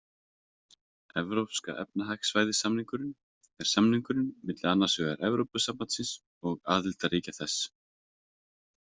Evrópska efnahagssvæðið-samningurinn er samningur á milli annars vegar Evrópusambandsins og aðildarríkja þess.